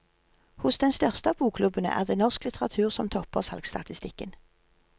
Hos den største av bokklubbene er det norsk litteratur som topper salgsstatistikken.